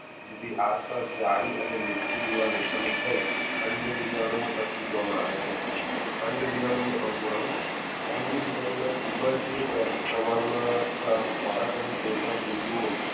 તે થી આસપાસ જાડી અને લીસસી દીવાલ ઉત્પન થઈ અન્ડબીજાણુઓ અસ્તિત્વ માં આવે છે અન્ડબીજાનું અંકુરન અન્નબીજરૂ ના ખુબજ પ્રમાણ માં ખોરાક અને તેલ નો પિરુઓ